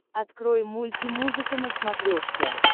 открой мульти музыка на смотрешке